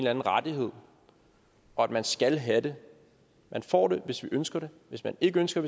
anden rettighed og at man skal have det man får det hvis vi ønsker det hvis vi ikke ønsker